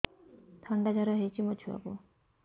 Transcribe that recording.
ଥଣ୍ଡା ଜର ହେଇଚି ମୋ ଛୁଆକୁ